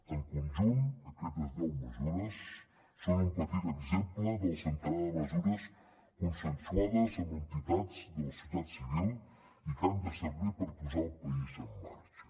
en conjunt aquestes deu mesures són un petit exemple del centenar de mesures consensuades amb entitats de la societat civil i que han de servir per posar el país en marxa